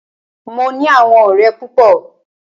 Mo ní àwọn ọ̀rẹ́ púpọ.